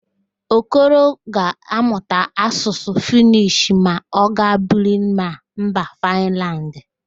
Okoro ga-amụta Asụsụ Fịnish ma ọ gaa biri na mba Fịnland